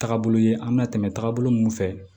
Taagabolo ye an bɛna tɛmɛ taabolo mun fɛ